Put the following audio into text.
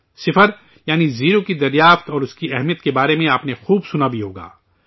صفر، یعنی، زیرو کی کھوج اور اس کی اہمیت کے بارے میں آپ نے خوب سنا بھی ہوگا